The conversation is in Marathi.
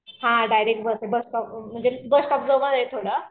हा डायरेक्ट बस आहे बस स्टॉप वरून म्हणजे बस स्टॉप जवळ आहे थोडा